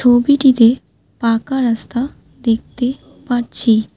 ছবিটিতে পাকা রাস্তা দেখতে পারছি।